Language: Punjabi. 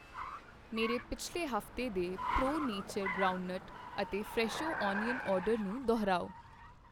ਮੇਰੇ ਪਿਛਲੇ ਹਫ਼ਤੇ ਦੇ ਪ੍ਰੋ ਨੇਚਰ ਗਰਾਉਂਡਨਟ ਅਤੇ ਫਰੈਸ਼ੋ ਅਨੀਅਨ ਆਰਡਰ ਨੂੰ ਦੁਹਰਾਓ